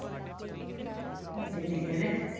ਜਿੰਦੀ ਨੇ